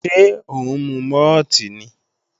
Ṣé ó ń mu mọ́ọ̀tì ni?